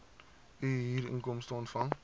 u huurinkomste ontvang